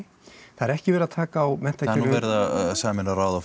það er ekki verið að taka á menntakerfinu nú verið að sameina ráð og